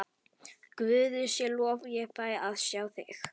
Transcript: Guði sé lof ég fæ að sjá þig.